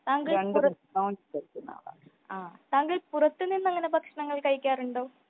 താങ്കൾ പുറത്തു നിന്ന്താങ്കൾ പുറത്തു നിന്ന് അങ്ങനെ ഭക്ഷണം കഴിക്കാറുണ്ടോ ?